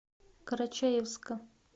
карачаевска